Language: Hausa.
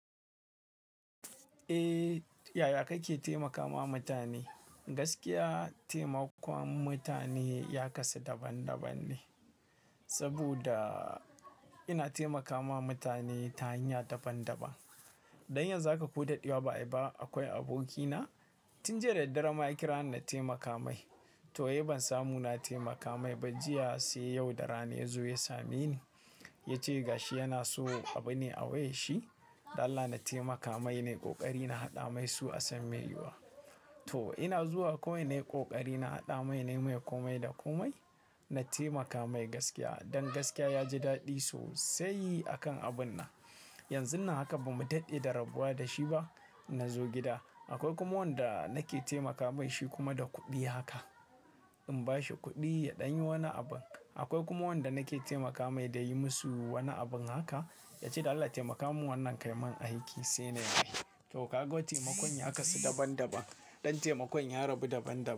Eh, yaya kake taimakama mutane? Gaskiya taimakon mutane ya kasu daban-daban ne, saboda ina taimakawa mutane ta hanya daban-daban. Dan yanzu za ka ko daɗewa ba ai ba. Akwai abokina tun jiya da daddara ma ya kira ni na taimaka mai. To, wai ban samu na taimaka mai ba jiya sai yau da rana ya zo ya same ni. Ya ce ga shi yana so abu ne a wayar shi Allah na taimaka mai nai ƙoƙari na haɗa mai su a san mai yiwuwa. To ina zuwa kawai ne ƙoƙari na haɗa mai ne mai komai da komai. Na taimaka mai gaskiya. Dan gaskiya ya ji daɗi sosai akan abun na. Eh, yaya kake taimakama mutane? Na zo gida. Akwai kuma wanda nake taimaka mai shi kuma da kuɗi haka. In bashi kuɗi ya ɗanyi wani abu. Akwai kuma wanda nake taimaka mai da yayi musu wani abun haka. Ya ce Allah taimaka min wannan kaimun aiki sai na yi. To ka ga taimakon ya kasu daban-daban. Dan taimakon ya rabu daban-daban.